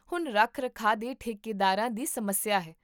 ਹੁਣ ਰੱਖ ਰਖਾਅ ਦੇ ਠੇਕੇਦਾਰਾਂ ਦੀ ਸਮੱਸਿਆ ਹੈ